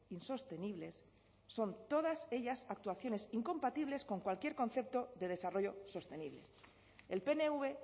insostenibles son todas ellas actuaciones incompatibles con cualquier concepto de desarrollo sostenible el pnv